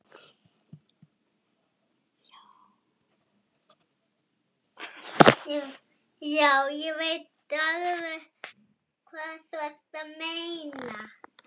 Já, ég veit alveg hvað þú ert að meina.